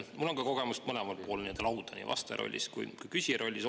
Mul on ka kogemus olla mõlemal pool lauda, nii vastaja rollis kui ka küsija rollis.